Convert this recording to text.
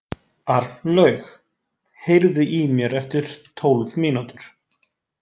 Arnlaug, heyrðu í mér eftir tólf mínútur.